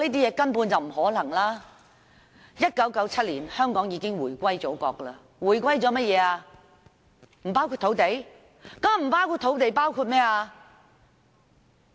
香港在1997年已經回歸祖國，假如回歸不包括土地，還包括甚麼？